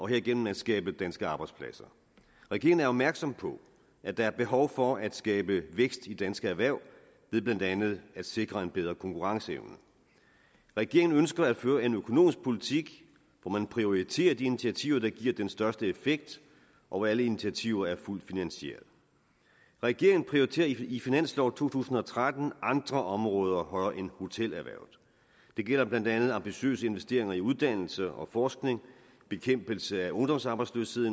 herigennem at skabe danske arbejdspladser regeringen er opmærksom på at der er behov for at skabe vækst i danske erhverv ved blandt andet at sikre en bedre konkurrenceevne regeringen ønsker at føre en økonomisk politik hvor man prioriterer de initiativer der giver den største effekt og hvor alle initiativer er fuldt finansieret regeringen prioriterer i finanslov to tusind og tretten andre områder højere end hotelerhvervet det gælder blandt andet ambitiøse investeringer i uddannelse og forskning bekæmpelse af ungdomsarbejdsløshed